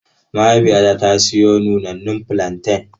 Mahaifiyata ta siyo nunannun fulanten.